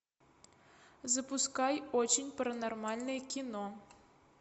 запускай очень паранормальное кино